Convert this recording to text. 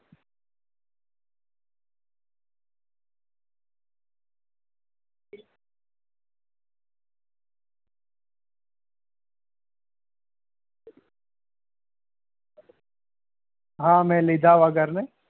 હા મેં લીધા વગર ને